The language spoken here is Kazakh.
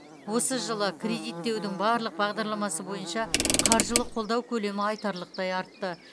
осы жылы жылы кредиттеудің барлық бағдарламасы бойынша қаржылық қолдау көлемі айтарлықтай артты